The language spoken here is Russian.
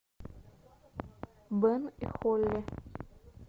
бен и холли